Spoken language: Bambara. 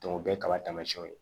o ye kaba taamasiyɛnw ye